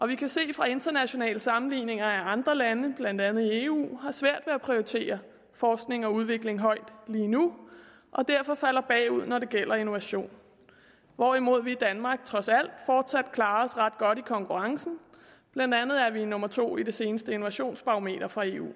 vi kan se fra internationale sammenligninger at andre lande blandt andet i eu har svært ved at prioritere forskning og udvikling højt lige nu og derfor falder bagud når det gælder innovation hvorimod vi i danmark trods alt fortsat klarer os ret godt i konkurrencen blandt andet er vi nummer to i det seneste innovationsbarometer fra eu